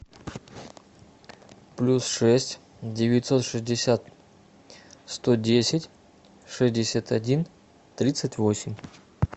плюс шесть девятьсот шестьдесят сто десять шестьдесят один тридцать восемь